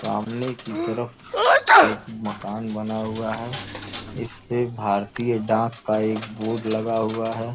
सामने की तरफ एक मकान बना हुआ है। इसपे (इसपर) भारतीय डाक का एक बोर्ड लगा हुआ है।